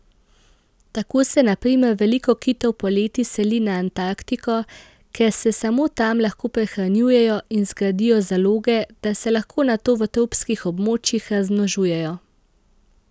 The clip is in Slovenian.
Tako se na primer veliko kitov poleti seli na Antarktiko, ker se samo tam lahko prehranjujejo in zgradijo zaloge, da se lahko nato v tropskih območjih razmnožujejo.